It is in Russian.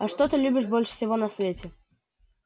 а что ты любишь больше всего на свете